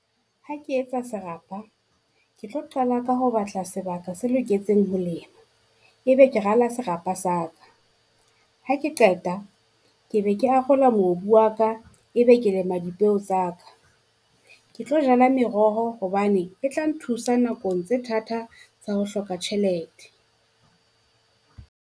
Ha ke etsa serapa ke tlo qala ka ho batla sebaka se loketseng ho lema, ebe ke rala serapa sa ka. Ha ke qeta ke be ke arola mobu wa ka, ebe ke lema dipeu tsa ka. Ke tlo jala meroho hobane e tla nthusa nakong tse thata tsa ho hloka tjhelete.